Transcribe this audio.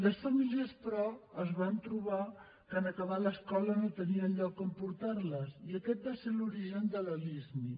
les famílies però es van trobar que en acabar l’escola no tenien lloc on portar les i aquest va ser l’origen de la lismi